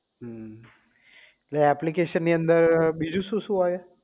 હમ